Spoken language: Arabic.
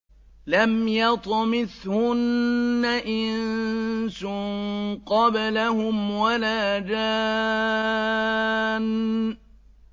لَمْ يَطْمِثْهُنَّ إِنسٌ قَبْلَهُمْ وَلَا جَانٌّ